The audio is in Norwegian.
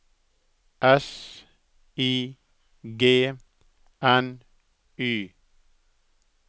S I G N Y